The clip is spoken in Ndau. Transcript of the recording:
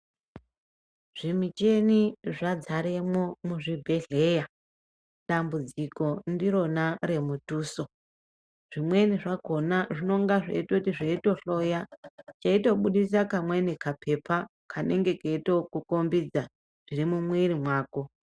Zvimicheni zvadzaremwo muzvibhedhleya. Dambudziko ndirona remutuso. Zvimweni zvakona zvinonga zveitoti zveitohloya cheitobudisa kamweni kapepa kanenge keitokukombidza zviri mumwiri mwako.